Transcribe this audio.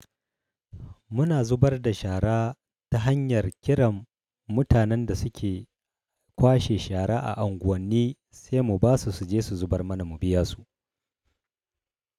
Muna zubar da shara ta hanyar kiran mutanen da suke kwashe shara a unguwanni sai mu basu suje su zubar mana mu biya su.